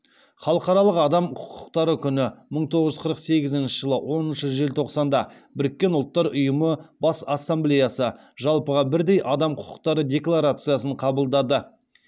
халықаралық адам құқықтары күні мың тоғыз жүз қырық сегізінші жылы оныншы желтоқсанда біріккен ұлттар ұйымы бас ассамблеясы жалпыға бірдей адам құқықтары декларациясын қабылдады